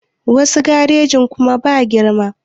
Wasu garejin kuma ba girma